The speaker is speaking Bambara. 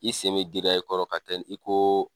I sen giriya i kɔrɔ ka tɛni i ko